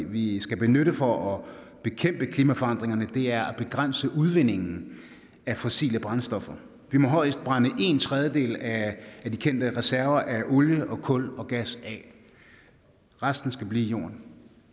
vi skal benytte for at bekæmpe klimaforandringerne er at begrænse udvindingen af fossile brændstoffer vi må højst brænde en tredjedel af de kendte reserver af olie og kul og gas af resten skal blive i jorden